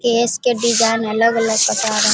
केश के डिज़ाइन अलग अलग बता रहा है।